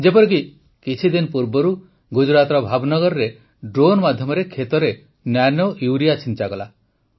ଯେପରିକି କିଛିଦିନ ପୂର୍ବରୁ ଗୁଜରାଟର ଭାବନଗରରେ ଡ୍ରୋନ୍ ମାଧ୍ୟମରେ କ୍ଷେତରେ ନାନୋୟୁରିଆ ଛିଞ୍ଚାଗଲା